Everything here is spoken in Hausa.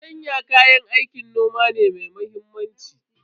Fartanya kayan aikin noma ne mai muhimmanci.